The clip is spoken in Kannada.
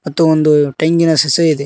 ಮತ್ತು ಒಂದು ಟೆಂಗಿನ ಸಸಿಯು ಇದೆ.